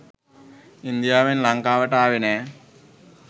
ඉන්දියාවෙන් ලංකාවට ආවේ නෑ.